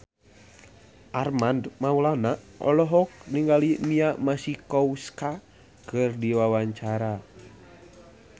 Armand Maulana olohok ningali Mia Masikowska keur diwawancara